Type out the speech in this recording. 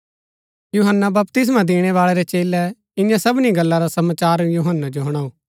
यूहन्‍ना बपतिस्मा दिणैबाळै रै चेलै ईयां सबनी गल्ला रा समाचार यूहन्‍नै जो हुणाऊ